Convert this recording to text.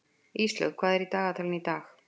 Íslaug, hvað er í dagatalinu í dag?